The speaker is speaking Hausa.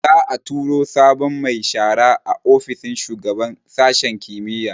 Za'a tura sabon mai shara a ofishin shugaban sashin kimiyya